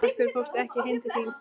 Af hverju fórstu ekki heim til þín?